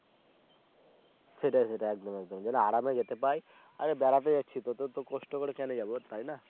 সেটাই সেটাই একদম একদম যেন আর আমি যেতে পাই তাহলে বেড়াতে যাচ্ছি তো অত কষ্ট করে কেন যাবো তাই না